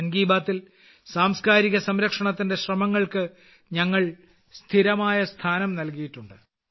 മൻ കി ബാത്തിൽ സാംസ്കാരിക സംരക്ഷണവുമായി ബന്ധപ്പെട്ട ശ്രമങ്ങൾക്ക് ഞങ്ങൾ സ്ഥിരമായ സ്ഥാനം നൽകിയിട്ടുണ്ട്